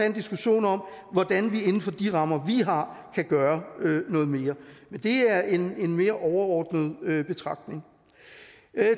en diskussion om hvordan vi inden for de rammer vi har kan gøre noget mere men det er en mere overordnet betragtning